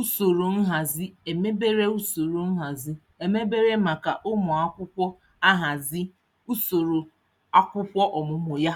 usoro nhazi emebere usoro nhazi emebere maka ụmụakwụkwọ ahazi usoro akwụkwọ ọmụmụ ya.